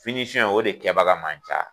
o de kɛbaga man ca.